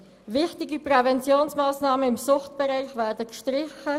Wichtige Präventionsmassnahmen im Suchtbereich werden gestrichen.